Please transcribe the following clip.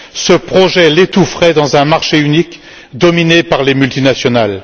Ce projet l'étoufferait dans un marché unique dominé par les multinationales.